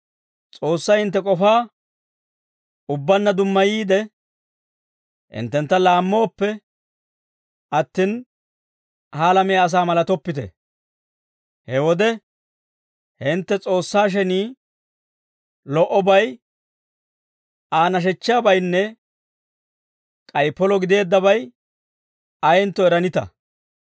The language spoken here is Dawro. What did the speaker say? S'oossay hintte k'ofaa ubbaanna dummayiide, hinttentta laammooppe attin, ha alamiyaa asaa malatoppite. He wode hintte, S'oossaa shenii, lo"obay, Aa nashechchiyaabaynne k'ay polo gideeddabay ayentto eranita.